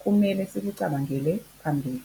kumele sikucabangele phambili.